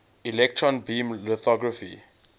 electron beam lithography